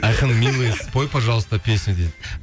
айқын милый спой пожалуйста песню дейді